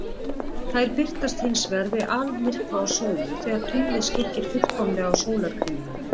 Þær birtast hins vegar við almyrkva á sólu, þegar tunglið skyggir fullkomlega á sólarkringluna.